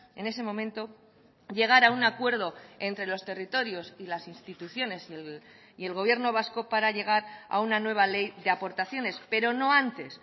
en ese momento llegar a un acuerdo entre los territorios y las instituciones y el gobierno vasco para llegar a una nueva ley de aportaciones pero no antes